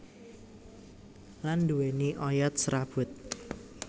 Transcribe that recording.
Lan nduwéni oyot serabut